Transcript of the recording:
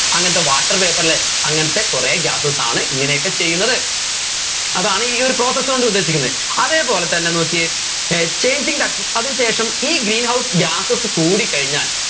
അങ്ങനത്തെ water vapour ലെ അങ്ങനത്തെ കുറെ gases ആണ് ഇങ്ങനെയൊക്കെ ചെയ്യുന്നത് അതാണ് ഈ ഒരു process കൊണ്ട് ഉദ്ദേശിക്കുന്നെ അതേപോലെ തന്നെ നോക്കിയേ ഏർ changing the അതിന് ശേഷം ഈ green house gases കൂടിക്കഴിഞ്ഞാൽ